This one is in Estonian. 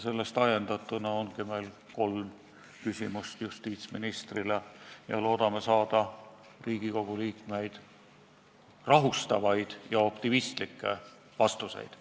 Sellest ajendatuna ongi meil kolm küsimust justiitsministrile ja loodame saada Riigikogu liikmeid rahustavaid ja optimistlikke vastuseid.